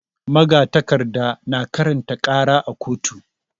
Magatakarda na karanta ƙara a koto.